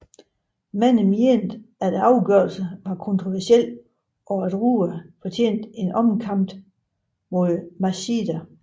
Mange mente afgørelsen var kontroversiel og at Rua fortjente en omkamp mod Machida